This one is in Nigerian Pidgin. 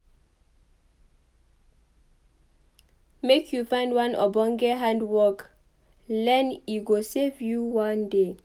Make you find one ogbonge hand-work learn e go save you one day.